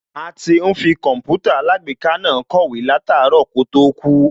A ti ń fi Kọǹpútà alágbèéká náà kọ̀wé láàtárọ̀ kó tó kú